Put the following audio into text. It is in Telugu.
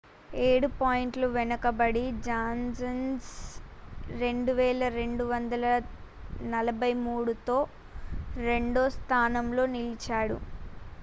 ఏడు పాయింట్లు వెనకబడి జాన్సన్ 2,243 తో రెండో స్థానంలో నిలిచాడు